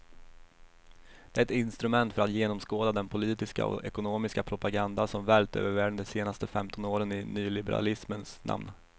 Det är ett instrument för att genomskåda den politiska och ekonomiska propaganda som vällt över världen de senaste femton åren i nyliberalismens namn.